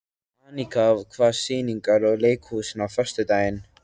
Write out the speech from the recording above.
Anika, hvaða sýningar eru í leikhúsinu á föstudaginn?